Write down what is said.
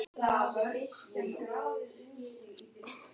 Fréttamaður: Er þetta klofningur í flokknum?